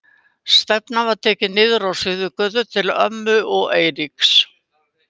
Stefnan var tekin niður á Suðurgötu til ömmu og Eiríks.